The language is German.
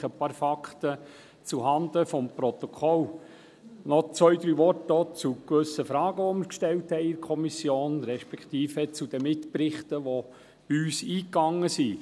Lediglich ein paar Fakten zuhanden des Protokolls, und auch noch zwei, drei Worte zu gewissen Fragen, die wir in der Kommission gestellt haben, respektive zu den Mitberichten, die bei uns eingegangen sind.